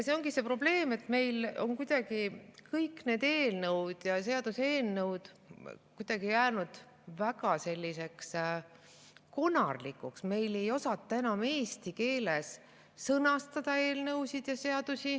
See ongi see probleem, et meil on kuidagi kõik need eelnõud ja seaduseelnõud jäänud väga konarlikuks, meil ei osata enam eelnõusid ja seadusi eesti keeles sõnastada.